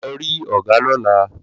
Lọ rí ọgá lóla